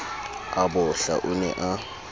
a bohla o ne a